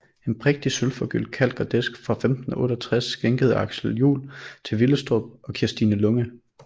En prægtig sølvforgyldt kalk og disk fra 1568 skænket af Aksel Juel til Willestrup og Kirstine Lunge